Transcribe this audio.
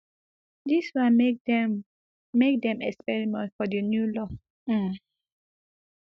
dis one make dem make dem experiment for di new law um